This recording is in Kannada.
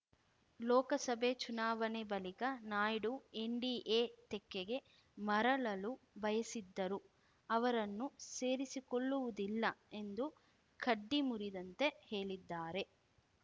ಲೋಕಸಭೆ ಚುನಾವಣೆ ಬಳಿಕ ನಾಯ್ಡು ಎನ್‌ಡಿಎ ತೆಕ್ಕೆಗೆ ಮರಳಲು ಬಯಸಿದ್ದರು ಅವರನ್ನು ಸೇರಿಸಿಕೊಳ್ಳುವುದಿಲ್ಲ ಎಂದು ಕಡ್ಡಿ ಮುರಿದಂತೆ ಹೇಳಿದ್ದಾರೆ